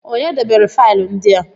Kedụ onye debere faịlụ ndị a?